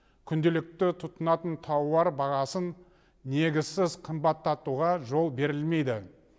күнделікті тұтынатын тауар бағасын негізсіз қымбаттатуға жол берілмейді